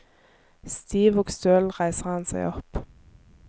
Stiv og støl reiser han seg opp.